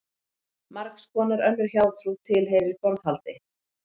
Margs konar önnur hjátrú tilheyrir borðhaldi.